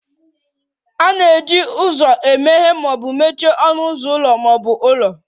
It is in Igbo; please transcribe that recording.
A na-eji ụzọ emeghe ma mechie ọnụ ụzọ ụlọ ma ọ bụ ụlọ